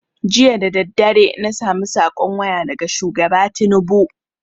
Jiya dadadare na samu saƙon waya daga shugaba tinubu